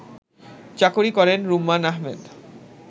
চাকুরী করেন রুম্মান আহমেদ